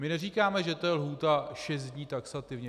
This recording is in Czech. My neříkáme, že to je lhůta šest dní taxativně.